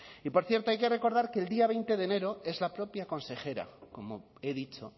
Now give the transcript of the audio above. y por cierto hay que recordar que el día veinte de enero es la propia consejera como he dicho